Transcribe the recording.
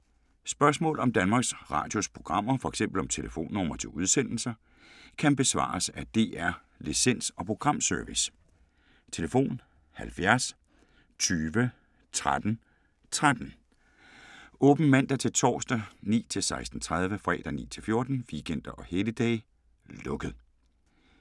Spørgsmål om Danmarks Radios programmer, f.eks. om telefonnumre til udsendelser, kan besvares af DR Licens- og Programservice: tlf. 70 20 13 13, åbent mandag-torsdag 9.00-16.30, fredag 9.00-14.00, weekender og helligdage: lukket.